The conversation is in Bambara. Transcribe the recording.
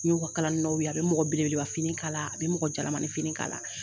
N ɲ'u ka kalali nɔw ye, a be mɔgɔ belebeleba fini kala a be mɔgɔ jalamani fini kala